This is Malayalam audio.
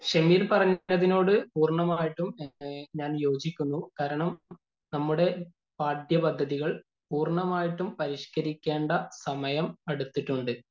ഷെമീര്‍ പറഞ്ഞതിനോട് പൂര്‍ണ്ണമായിട്ടും ഞാന്‍ യോജിക്കുന്നു. കാരണം നമ്മുടെ പാഠൃപദ്ധതികള്‍ പൂര്‍ണ്ണമായിട്ടും പരിഷ്കരിക്കേണ്ട സമയം അടുത്തിട്ടുണ്ട്.